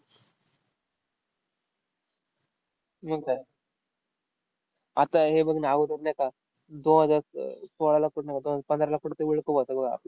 मंग काय. आता हे बघ ना नाही का, दोन हजार स अह सोळाला पण नव्हता, अन पंधराला पण ते होता